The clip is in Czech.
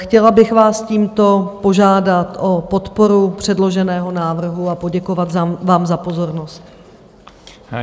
Chtěla bych vás tímto požádat o podporu předloženého návrhu a poděkovat vám za pozornost.